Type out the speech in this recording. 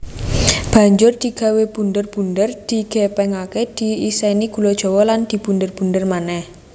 Banjur digawé bunder bunder digèpèngaké diisèni gula Jawa lan dibunder bunder manèh